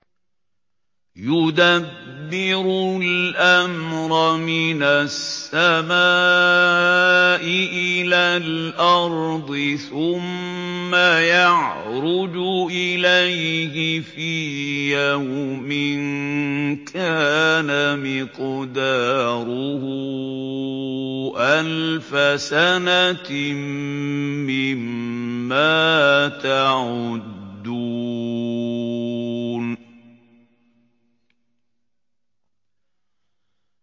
يُدَبِّرُ الْأَمْرَ مِنَ السَّمَاءِ إِلَى الْأَرْضِ ثُمَّ يَعْرُجُ إِلَيْهِ فِي يَوْمٍ كَانَ مِقْدَارُهُ أَلْفَ سَنَةٍ مِّمَّا تَعُدُّونَ